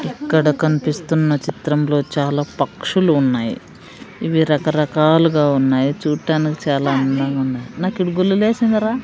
ఇక్కడ కనిపిస్తున్న చిత్రంలో చాలా పక్షులు ఉన్నాయి ఇవి రకరకాలుగా ఉన్నాయి చూడ్డానికి చాలా అందంగా ఉన్నాయి నాక్ ఈడ గుల్ల లేసిందా రా.